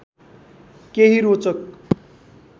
केही रोचक